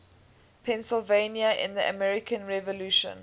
pennsylvania in the american revolution